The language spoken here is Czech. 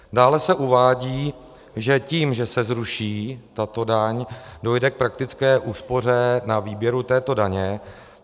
Dále se uvádí, že tím, že se zruší tato daň, dojde k praktické úspoře na výběru této daně.